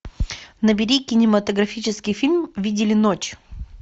набери кинематографический фильм видели ночь